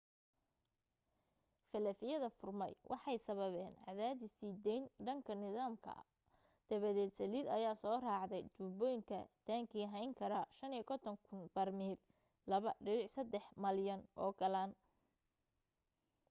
faalafyada furmay waxay sababeen cadaadis sii deyn dhanka nidaamka ah dabadeed saliid ayaa soo raacday tuubooyinka taangi hayn kara 55,000 barmiil 2.3 malyan oo galaan